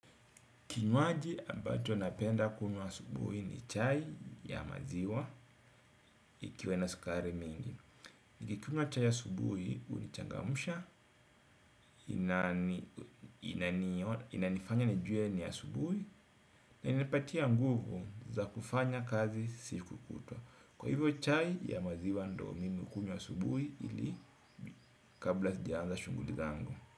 Kinywaji ambacho napenda kunywa asubuhi ni chai ya maziwa ikiwa na sukari mingi. Niki kunywa chai ya asubuhi unichangamsha, inanifanya nijue ni ya asubuhi na inanipatia nguvu za kufanya kazi siku kutwa. Kwa hivyo chai ya maziwa ndoo mimi kunywa asubuhi ili kabla sijaanza shughuli zangu.